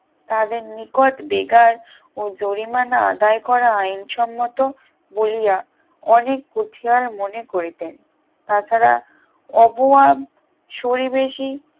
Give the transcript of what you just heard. তাদের নিকট বেগার ও জরিমানা আদায় করা আইন সম্মত বলিয়া অনেক কুঠিয়াল মনে করিতেন তাছাড়া অবয়াব শূলীবেশী